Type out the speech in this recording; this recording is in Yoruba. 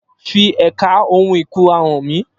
Fi ẹ̀ka ohun ìkunra hàn mí